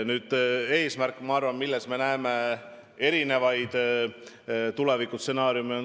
Ühes asjas me aga näeme erinevaid tulevikustsenaariume.